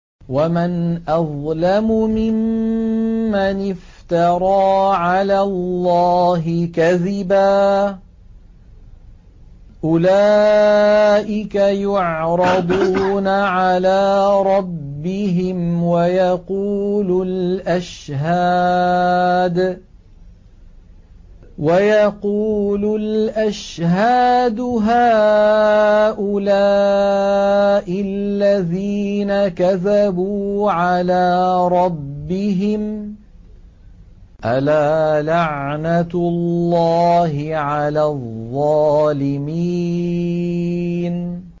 وَمَنْ أَظْلَمُ مِمَّنِ افْتَرَىٰ عَلَى اللَّهِ كَذِبًا ۚ أُولَٰئِكَ يُعْرَضُونَ عَلَىٰ رَبِّهِمْ وَيَقُولُ الْأَشْهَادُ هَٰؤُلَاءِ الَّذِينَ كَذَبُوا عَلَىٰ رَبِّهِمْ ۚ أَلَا لَعْنَةُ اللَّهِ عَلَى الظَّالِمِينَ